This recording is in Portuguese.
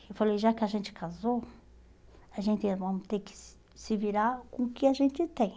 Eu falei, já que a gente casou, a gente vamos ter que se se virar com o que a gente tem.